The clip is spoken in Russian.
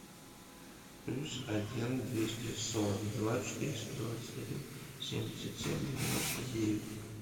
плюс один двести сорок два четыреста двадцать один семьдесят семь девяносто девять